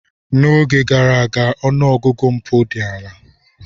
N'oge gara aga, ọnụ ọgụgụ mpụ dị ala.